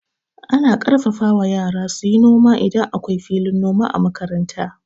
Ana ƙarfafa wa yara suyi noma idan akwai filin noma a makaranta.